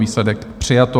Výsledek: přijato.